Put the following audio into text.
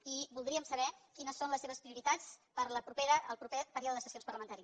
i voldríem saber quines són les seves prioritats per al proper període de sessions parlamentari